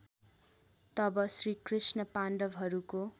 तब श्रीकृष्ण पाण्डवहरूको